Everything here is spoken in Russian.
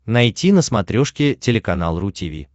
найти на смотрешке телеканал ру ти ви